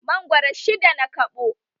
Mangoro shidda na kaɓo